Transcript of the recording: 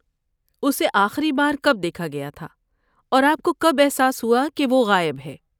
اسے آخری بار کب دیکھا گیا تھا اور آپ کو کب احساس ہوا کہ وہ غائب ہے؟